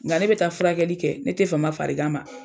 N ka ne bɛ taa furakɛli kɛ ne tɛ fama farigan ma.